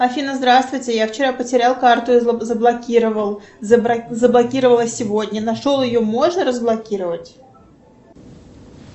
афина здравствуйте я вчера потерял карту и заблокировал заблокировала сегодня нашел ее можно разблокировать